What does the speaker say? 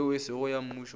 yeo e sego ya mmušo